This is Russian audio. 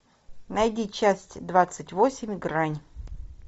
найди часть двадцать восемь грань